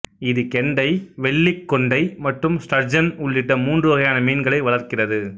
இது கெண்டை வெள்ளிக் கொண்டை மற்றும் ஸ்டர்ஜன் உள்ளிட்ட மூன்று வகையான மீன்களை வளர்க்கிறது